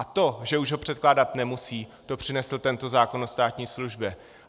A to, že už ho předkládat nemusí, to přinesl tento zákon o státní službě.